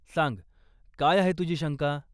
सांग, काय आहे तुझी शंका?